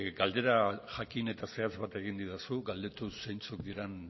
galdera jakin eta zehatz bat egin didazu galdetu zeintzuk diran